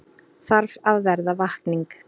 Þarf að verða vakning